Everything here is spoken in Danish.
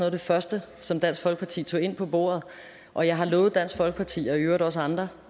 af det første som dansk folkeparti tog ind på bordet og jeg har lovet dansk folkeparti og i øvrigt også andre